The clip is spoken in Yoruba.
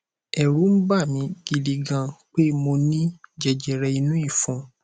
ẹrù ń bà mí gidi gan pé mo ní jẹjẹrẹ inú ìfun